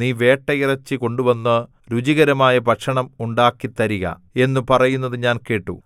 നീ വേട്ടയിറച്ചി കൊണ്ടുവന്ന് രുചികരമായ ഭക്ഷണം ഉണ്ടാക്കിത്തരിക എന്നു പറയുന്നത് ഞാൻ കേട്ടു